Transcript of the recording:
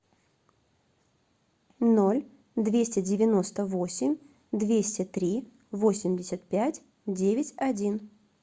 ноль двести девяносто восемь двести три восемьдесят пять девять один